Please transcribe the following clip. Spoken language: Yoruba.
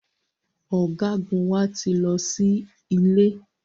Ọ̀gágun wa ti lọ sí ilé